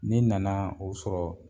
Ne nana o sɔrɔ